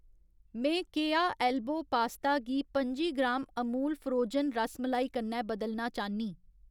में केया elbow pasta गी पंजी ग्राम अमूल फ्रोजन रसमलाई कन्नै बदलना चाह्न्नीं।